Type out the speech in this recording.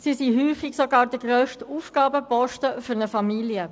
Sie sind häufig sogar der grösste Ausgabenposten einer Familie.